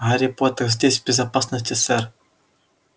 гарри поттер здесь в безопасности сэр